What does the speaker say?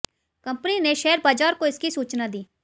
company ने share बाजार को इसकी सूचना दी